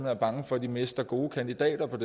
er bange for at de mister gode kandidater på